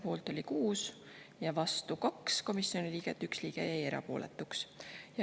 Poolt oli 6 ja vastu 2 komisjoni liiget, 1 liige jäi erapooletuks.